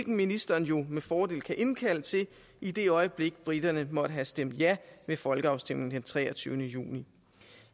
ministeren jo med fordel kan indkalde til i det øjeblik briterne måtte have stemt ja ved folkeafstemningen den treogtyvende juni